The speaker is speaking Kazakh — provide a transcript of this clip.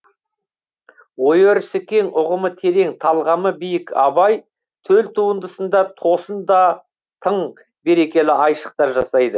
ой өрісі кең ұғымы терең талғамы биік абай төл туындысында тосын да тың берекелі айшықтар жасайды